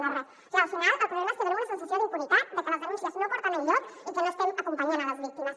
clar al final el problema és que tenim una sensació d’impunitat de que les denúncies no porten enlloc i que no estem acompanyant les víctimes